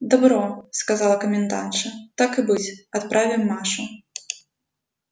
добро сказала комендантша так и быть отправим машу